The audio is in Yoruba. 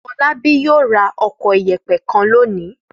Fọlábí yóò ra ọkọ̀ ìyẹ̀pẹ̀ kan lónìí.